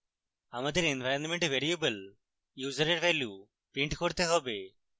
আমাদের environment variable user we value print করতে হবে